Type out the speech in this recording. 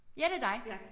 Ja det dig